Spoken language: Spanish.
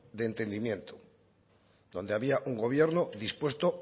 de entendimiento donde había un gobierno dispuesto